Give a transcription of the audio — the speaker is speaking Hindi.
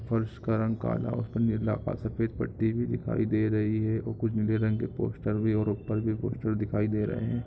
फर्श का रंग काला और उसपे निरला का सफेद पट्टी भी दिखाई दे रही है और कुछ नीले रंग के पोस्टर भी और ऊपर भी पोस्टर दिखाई दे रहे हैं।